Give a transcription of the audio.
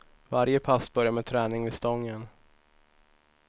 Varje pass börjar med träning vid stången.